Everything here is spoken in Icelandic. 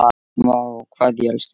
Vá, hvað ég elskaði þig.